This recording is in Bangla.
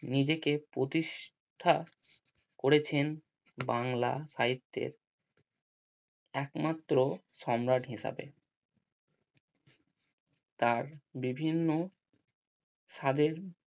নিজেকে প্রতিষ্ঠা করেছেন বাংলা সাহিত্যের একমাত্র সম্রাট হিসাবে তার বিভিন্ন